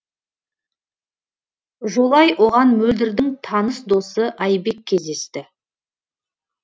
жолай оған мөлдірдің таныс досы айбек кездесті